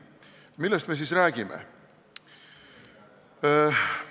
Millest me siis räägime?